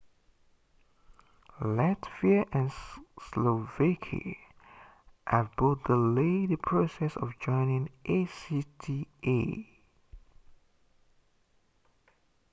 latvia and slovakia have both delayed the process of joining acta